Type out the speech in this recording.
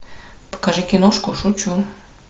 покажи киношку шучу